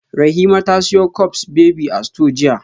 Rahima ta siyo cups baby a store jiya